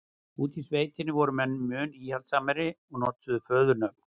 úti í sveitunum voru menn mun íhaldssamari og notuðu föðurnöfn